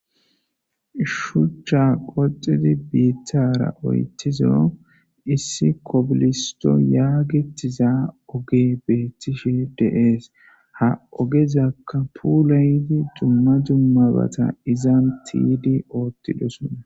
shuchcha qoxidi biittara oyttizo issi kobilisto yaagitiza oge beettishe deees ha ogezaka pulaydi dumma dummabata izan tiydi oottidosona